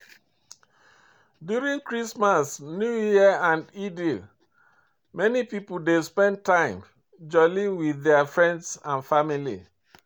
During Christmas, New year and Eid, many pipo dey spend time jolli with their friends and families